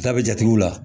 Ta be jatew la